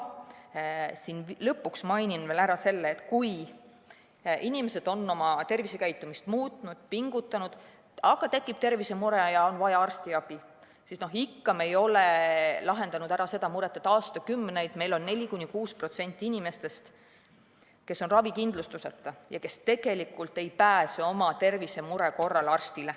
Lõpuks mainin veel ära selle, et kui inimesed on oma tervisekäitumist muutnud ja pingutanud, aga tekib tervisemure ja on vaja arstiabi, siis me ei ole ikka lahendanud ära seda muret, et aastakümneid on meil 4–6% inimesi ravikindlustuseta ja tegelikult ei pääse tervisemure korral arstile.